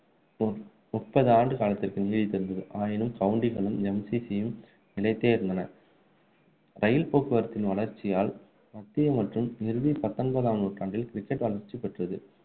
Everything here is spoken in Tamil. முப்பது ஆண்டு காலத்திற்கு நீடித்து இருந்தது. ஆயினும் கவுண்டிகளும் MCC யும் நிலைத்தே இருந்தன ரயில் போக்குவரத்தின் வளர்ச்சியால் மத்திய மற்றும் இறுதி பத்தொன்பதாம் நூற்றாண்டில் cricket வளர்ச்சி பெற்றது